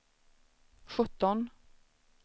sjutton